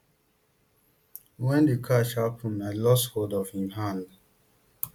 wen di crush huppen i lost hold of im hand